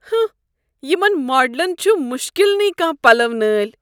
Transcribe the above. ہٕنٛہہ! یمن ماڈلن چھُ مُشکل نٕے کانٛہہ پلو نٲلۍ۔